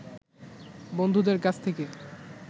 বন্ধুদের কাছ থেকে